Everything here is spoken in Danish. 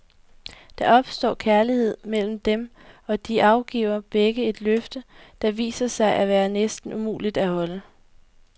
Der opstår kærlighed mellem dem, og de afgiver begge et løfte, der viser sig at være næsten umuligt at holde.